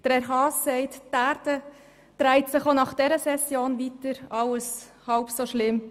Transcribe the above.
Grossrat Haas sagt, die Erde drehe sich auch nach dieser Session weiter und alles sei halb so schlimm.